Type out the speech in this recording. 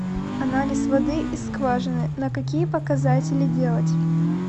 анализ воды из скважины на какие показатели делать